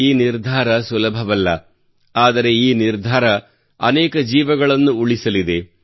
ಈ ನಿರ್ಧಾರವು ಸುಲಭವಲ್ಲ ಆದರೆ ಈ ನಿರ್ಧಾರವು ಅನೇಕ ಜೀವಗಳನ್ನು ಉಳಿಸಲಿದೆ